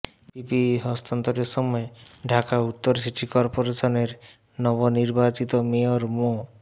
PPE হস্তান্তরের সময় ঢাকা উত্তর সিটি করপোরেশনের নবনির্বাচিত মেয়র মো